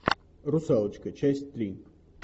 русалочка часть три